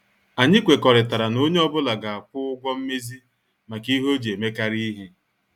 Anyị kwekọrịtara na onye ọ bụla ga- akwụ ụgwọ mmezi maka ihe ọ ji emekari ihe.